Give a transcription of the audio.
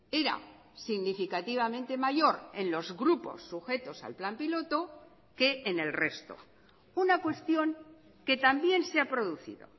era significativamente mayor en los grupos sujetos al plan piloto que en el resto una cuestión que también se ha producido